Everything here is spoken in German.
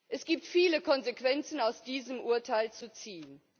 Es gibt viele Konsequenzen aus diesem Urteil zu ziehen.